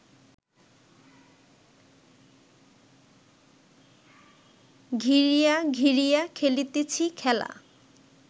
ঘিরিয়া ঘিরিয়া খেলিতেছি খেলা